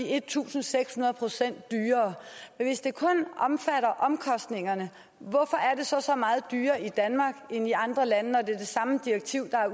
en tusind seks hundrede procent dyrere hvis det kun omfatter omkostningerne hvorfor er det så så meget dyrere i danmark end i andre lande når det er det samme direktiv der